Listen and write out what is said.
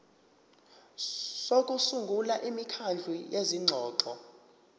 sokusungula imikhandlu yezingxoxo